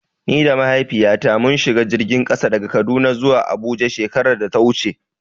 Ni da Mahaifiyata mun shiga jirgin ƙasa daga Kaduna zuwa Abuja shekarar da ta wuce.